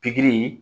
Pikiri